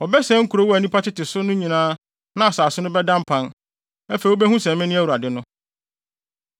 Wɔbɛsɛe nkurow a nnipa tete so no nyinaa na asase no bɛda mpan. Afei wubehu sɛ mene Awurade no.’ ”